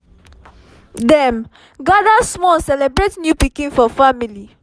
dem gather small celebrate new pikin for family